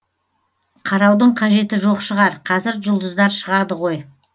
қараудың қажеті жоқ шығар қазір жұлдыздар шығады ғой